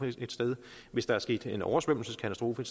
hvis der er sket en oversvømmelseskatastrofe